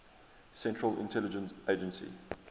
central intelligence agency